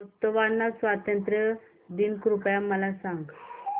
Botswana स्वातंत्र्य दिन कृपया मला सांगा